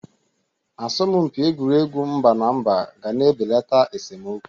Asọmpị egwuregwu mba na mba ga na-ebelata esomokwu.